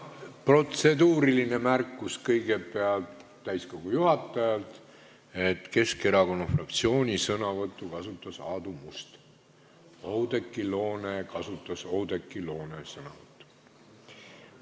Protseduuriline märkus kõigepealt täiskogu juhatajalt: Keskerakonna fraktsiooni sõnavõttu kasutas Aadu Must, Oudekki Loone kasutas Oudekki Loone sõnavõttu.